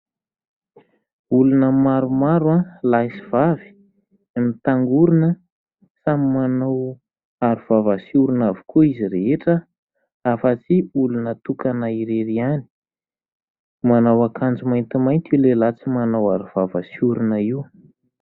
Olona maromaro, lahy sy vavy no mitangorona, samy manao aro vava sy orona avokoa izy rehetra afa-tsy olona tokana irery ihany. Manao akanjo maintimainty io lehilahy tsy manao aro vava sy orona io.